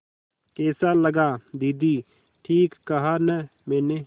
कैसा लगा दीदी ठीक कहा न मैंने